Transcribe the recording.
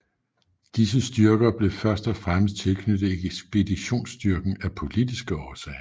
Disse styrker blev først og fremmest tilknyttet ekspeditionsstyrken af politiske årsager